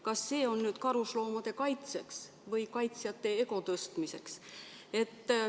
Kas see eelnõu on nüüd karusloomade kaitseks või kaitsjate ego tõstmiseks?